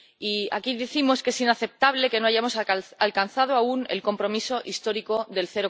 Y, aquí, decimos que es inaceptable que no hayamos alcanzado aún el compromiso histórico del